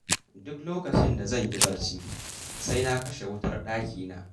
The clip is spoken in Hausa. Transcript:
Duk lokacin da zan yi barci, sai na kashe wutar dakina.